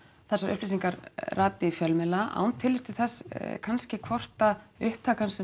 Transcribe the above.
þessar upplýsingar rati í fjölmiðla án tillits til þess kannski hvort að upptakan sem